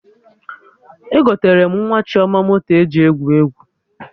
Egotere m nwa Chioma moto eji egwu egwu